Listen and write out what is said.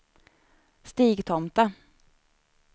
Stigtomta